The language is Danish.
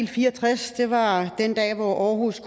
fire og tres var den dag hvor århus